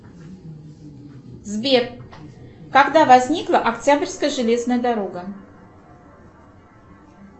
сбер когда возникла октябрьская железная дорога